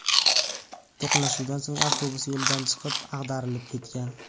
To‘qnashuvdan so‘ng avtobus yo‘lidan chiqib, ag‘darilib ketgan.